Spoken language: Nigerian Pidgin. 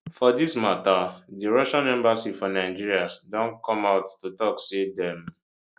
for dis mata di russian embassy for nigeria don come out to tok say dem